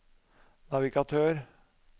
navigatør